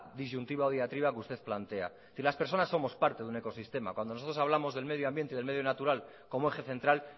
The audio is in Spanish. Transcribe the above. disyuntiva que usted plantea es decir las personas somos parte de un ecosistema cuando nosotros hablamos del medio ambiente del medio natural como eje central